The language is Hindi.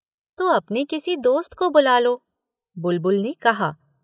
तो अपने किसी दोस्त को बुला लो। बुलबुल ने कहा